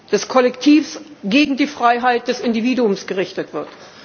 aller, des Kollektivs, gegen die Freiheit des Individuums gerichtet wird.